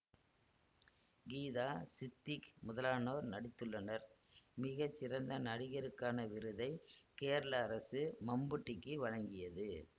கீதா சித்திக் முதலானோர் நடித்துள்ளனர் மிக சிறந்த நடிகருக்கான விருதை கேரள அரசு மம்புட்டிக்கு வழங்கியது